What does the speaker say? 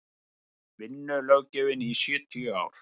vinnulöggjöfin í sjötíu ár